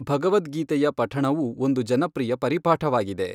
ಭಗವದ್ಗೀತೆಯ ಪಠಣವೂ ಒಂದು ಜನಪ್ರಿಯ ಪರಿಪಾಠವಾಗಿದೆ.